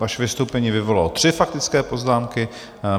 Vaše vystoupení vyvolalo tři faktické poznámky.